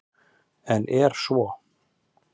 En er svo?